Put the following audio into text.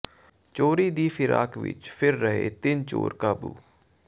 ਚੋਰੀ ਦੀ ਫ਼ਿਰਾਕ ਵਿੱਚ ਫਿਰ ਰਹੇ ਤਿੰਨ ਚੋਰ ਕਾਬੂ